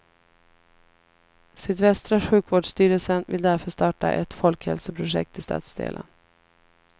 Sydvästra sjukvårdsstyrelsen vill därför starta ett folkhälsoprojekt i stadsdelen.